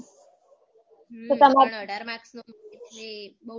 હમ અમાર અઢાર marks નું એટલે બૌ long question હોય ને